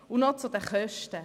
Und noch zu den Kosten: